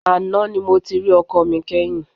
Àná ni mo ti rí ọkọ mi kẹ́yìn.